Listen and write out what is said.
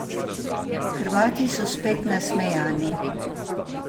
Hrvati so spet nasmejani.